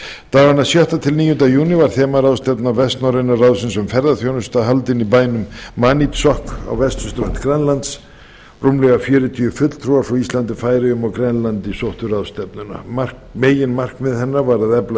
dagana sjötta til níunda júní var þemaráðstefna vestnorræna ráðsins um ferðaþjónustu haldin í bænum maniitsoq á vesturströnd grænlands rúmlega fjörutíu fulltrúar frá íslandi færeyjum og grænlandi sóttu ráðstefnuna meginmarkmið hennar var að efla